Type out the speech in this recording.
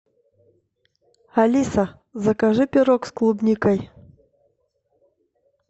алиса закажи пирог с клубникой